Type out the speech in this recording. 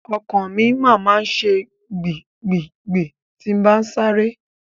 Ọkàn mi máa ma ṣe gbì gbì gbì tí n bá sáré.